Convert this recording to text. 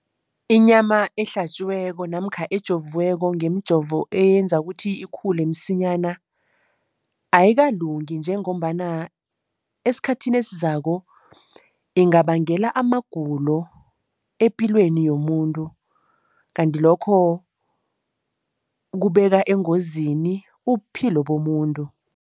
Inyama ehlatjiweko namkha ejoviweko ngemijovo eyenza ukuthi ikhule msinyana, ayikalungi njengombana esikhathini esizako ingabangela amagulo epilweni yomuntu. Kanti lokho kubeka engozini ubuphilo bomuntu.